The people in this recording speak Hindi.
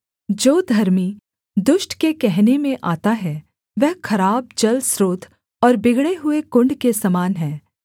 जो धर्मी दुष्ट के कहने में आता है वह खराब जलस्रोत और बिगड़े हुए कुण्ड के समान है